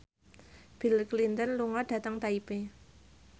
Bill Clinton lunga dhateng Taipei